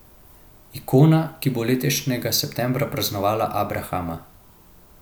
Ikona, ki bo letošnjega septembra praznovala abrahama.